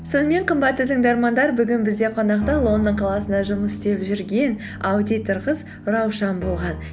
сонымен қымбатты тыңдармандар бүгін бізде қонақта лондон қаласында жұмыс істеп жүрген аудитор қыз раушан болған